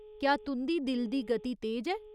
क्या तुं'दी दिल दी गति तेज ऐ ?